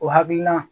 O hakilina